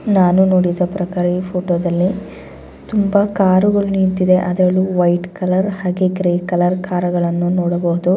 ನಾನು ನೋಡಿದ ಪ್ರಕಾರ ಈ ಫೋಟೋ ದಲ್ಲಿ ತುಂಬಾ ಕಾರು ಗಳು ನಿಂತಿದೆ ಅದರಲ್ಲಿ ವೈಟ್ ಕಲರ್ ಹಾಗೆ ಗ್ರೇ ಕಲರ್ ಕಾರು ಗಳನ್ನು ನೋಡಬಹುದು .